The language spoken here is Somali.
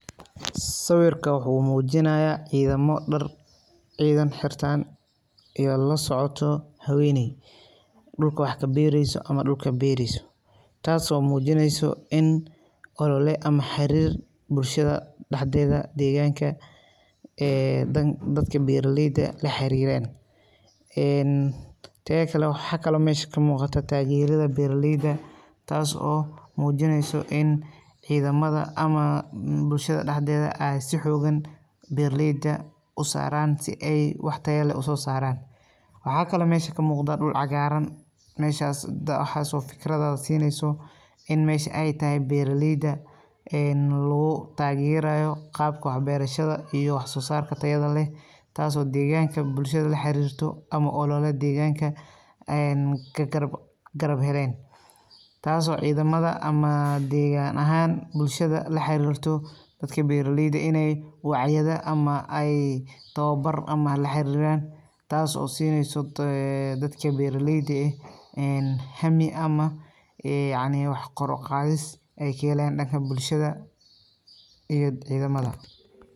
Sawirka wuxuu muujinaya ciidamo dhar ciidan xirtaan iyo lasocto haweeney dhulka wax ka beereyso ama dhulka beereyso taaso muujineyso in olole ama xariir bulshada dhaxdeeda deeganka ee dadka beeraleyda la xariiran een teeda kale waxa meesha kamuuqata taageerida beeraleyda taas oo oo muujineyso in ciidamada ama bulshada dhaxdeeda si xoogan beeraleyda usaaraan si ay wax tayo leh usoo saaran waxa kale meesha kamuuqda dhul cagaaran meeshas waxaso fikrado siineyso in meesha ay tahay beeraleyda een lagu taageerayo qaabka wax beerashada iyo wax soo saarka tayada leh taaso deeganka bulshada la xariirto ama olole deeganka een ka garab heleen taaso ciidamada ama deegan ahaaan bulshada la xariirto dadka beeraleyda ineey wacyada ama ay towbar ama la xariiran taaso siineysa ee dadka beeraleyda eh een hami ama yacni wax koe uqaadis ay kahelayaan dhanka bulshada iyo ciidamada.